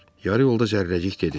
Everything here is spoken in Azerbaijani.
Yarı yolda Zərrəcik dedi: